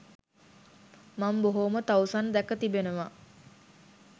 මං බොහෝම තවුසන් දැක තිබෙනවා.